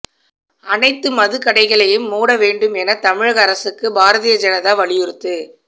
அனைத்து மதுக்கடைகளையும் மூட வேண்டும் என தமிழக அரசுக்கு பாரதிய ஜனதா வலியுறுத்து